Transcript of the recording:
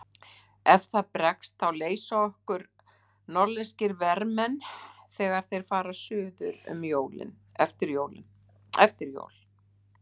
Ef það bregst þá leysa okkur norðlenskir vermenn þegar þeir fara suður eftir jól.